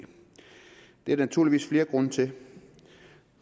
er der naturligvis flere grunde til og